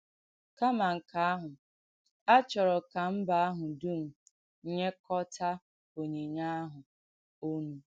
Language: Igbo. Kàmà nkè àhụ́, à chọ̀rọ̀ kà mbà àhụ̀ dùm nyèkọ́tà ònyìnyè àhụ̀ ònù.